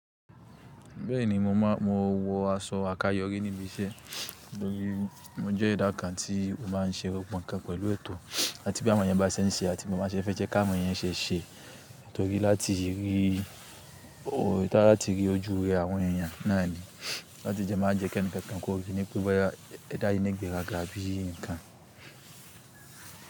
Bẹ́ẹ̀ni, mo máa, mo wọ aṣọ àkáyọrí níbi iṣẹ́ torí mo jẹ́ edá kàn tí ó máa ń ṣe gbogbo nǹkan pẹ̀lú ètò áti bí àwọn èèyàn bá ṣe ń ṣe àti bí mo ba ṣe fẹ́ jẹ́ kí àwọn èèyàn ṣe ṣe, torí láti rí, láti rí ojúure àwọn èèyàn náà ni. Láti dẹ́ máa jẹ́ kí ẹnìkankan kò rí ní pé bọ́ya, ẹ dá yíi nígbèràgá bí i nǹkan.